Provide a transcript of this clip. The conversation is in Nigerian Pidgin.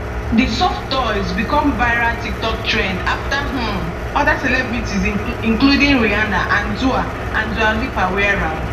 di soft toys becomeviral tiktok trendafter um oda celebrities including rihanna and dua and dua lipa wear am